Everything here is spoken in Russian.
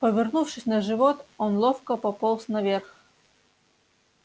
повернувшись на живот он ловко пополз наверх